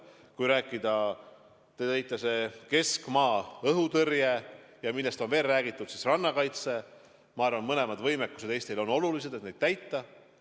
Kui rääkida keskmaa-õhutõrjest ja rannakaitsest, millest on ka räägitud, siis ma arvan, mõlemad võimekused on Eestile olulised, need peavad olema.